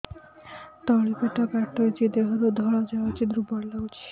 ତଳି ପେଟ କାଟୁଚି ଦେହରୁ ଧଳା ଯାଉଛି ଦୁର୍ବଳ ଲାଗୁଛି